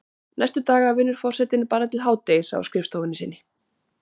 Næstu daga vinnur forsetinn bara til hádegis á skrifstofunni sinni.